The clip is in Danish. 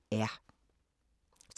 TV 2